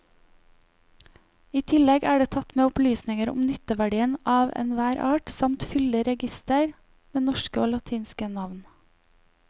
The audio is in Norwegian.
I tillegg er det tatt med opplysninger om nytteverdien av enhver art samt fyldig reigister med norske og latinske navn.